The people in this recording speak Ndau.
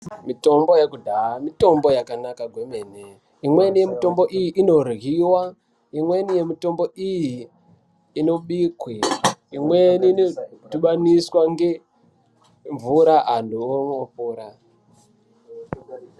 Mitombo yekudhaa mitombo mitombo yakanaka kwemene. imweni yemitombo iyi inoryiwa, imweni yemitombo iyi inobikwe. Imweni inodhibaniswa ngemvura anhu omwe mvura.